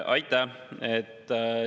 Aitäh!